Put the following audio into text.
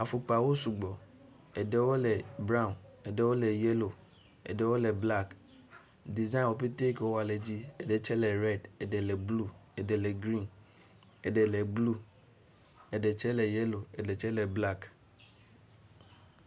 Afɔkpawo sugbɔ, eɖewo le braw, eɖewo le yelo, eɖewo le blak, ɖizayi woƒetɔ ke wowɔ le dzi. Eɖe tsɛ le rɛd, eɖe le blu, eɖe grin, eɖe le blu, eɖe tsɛ le yelo, eɖe tsɛ le blak.